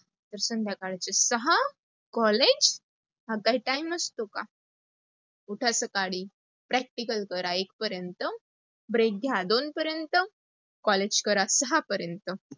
तर संध्याकाळचे सहा collage. हा काय time असतो का? उठा सकाळी, practical करा एक पर्यंत, break घ्या दोन पर्यन्त, कॉलेज करा सहा पर्यंत.